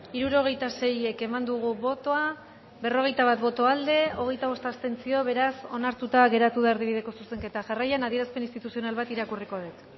hirurogeita sei eman dugu bozka berrogeita bat boto aldekoa hogeita bost abstentzio beraz onartuta geratu da erdibideko zuzenketa jarraian adierazpen instituzional bat irakurriko dut